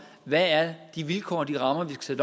hvad de vilkår og de rammer er som